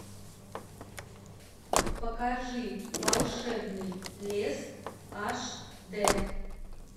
покажи волшебный лес аш д